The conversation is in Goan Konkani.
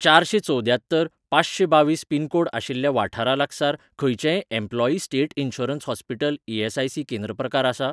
चारशें चवद्यात्तर पांचशें बावीस पिनकोड आशिल्ल्या वाठारा लागसार खंयचेंय एम्प्लॉयी स्टेट इन्शुरन्स हॉस्पीटल ई.एस.आय.सी.केंद्र प्रकार आसा ?